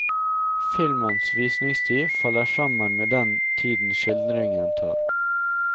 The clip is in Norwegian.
Filmens visningstid faller sammen med den tiden skildringen tar.